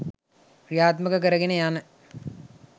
ක්‍රියාත්මක කරගෙන යන